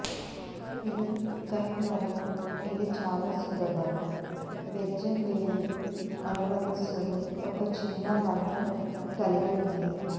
ఇది కట్ మరియు ఇది చాలా సులభం బెజ్జం వెయ్యి అనుమతిస్తుంది ఒక చిన్న మందం కలిగి ఉంది